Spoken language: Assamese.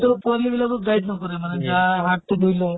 পোৱালী বিলাকক guide নকৰে মানে, গা হাত তো ধুই ল